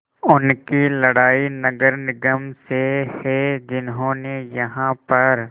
उनकी लड़ाई नगर निगम से है जिन्होंने यहाँ पर